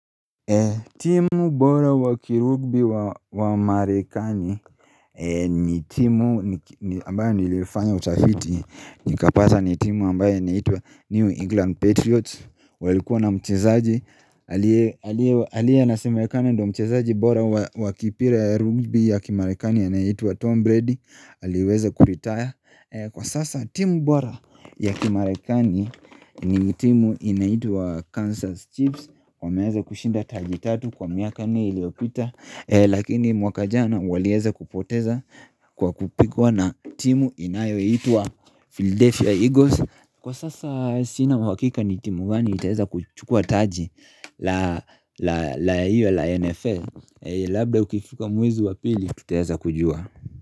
Timu bora hua kirugbi wa marekani ni timu ambayo nilifanya utafiti nikapata ni timu ambayo inaitwa New England Patriots walikuwa na mchezaji aliye inasimekana ndo mchezaji bora wakipira ya rugby ya kimarekani anayeitwa Tom Brady aliweza kuretire Kwa sasa timu bora ya Kimarekani ni timu inaitwa Kansas Chips wameweza kushinda taji 3 kwa miaka nne iliyopita Lakini mwaka jana waliweza kupoteza kwa kupigwa na timu inayoyaitwa Philadelphia Eagles Kwa sasa sina uhakika ni timu gani itaweza kuchukua taji la NFL Labda ukifika mwezi wa pili tutaeza kujua.